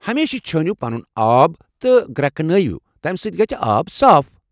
ہمیشہِ چھٲنِیو پنُن آب تہٕ گرٛٮ۪کنٲوِو، تمہ سۭتۍ گژھِ آب صاف۔